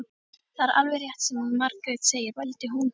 Það er alveg rétt sem Margrét segir, vældi hún.